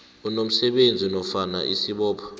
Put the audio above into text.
unomsebenzi nofana isibopho